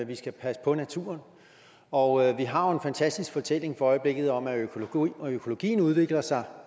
vi skal passe på naturen og vi har jo en fantastisk fortælling for øjeblikket om at økologien udvikler sig